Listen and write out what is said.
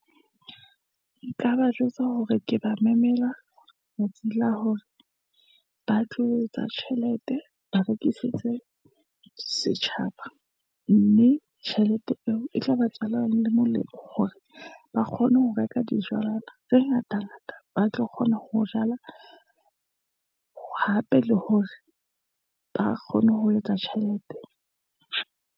Nka ba jwetsa hore ke ba mamela, la hore ba tlo etsa tjhelete, ba rekisitse setjhaba, mme tjhelete eo e tla ba ba tswala le molemo hore, ba kgone ho reka dijalo tse ngata ngata, ba tlo kgona ho jala, hape le hore ba kgone ho etsa tjhelete.